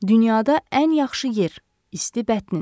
Dünyada ən yaxşı yer – isti bətnin.